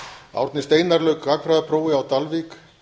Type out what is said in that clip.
árni steinar lauk gagnfræðaprófi á dalvík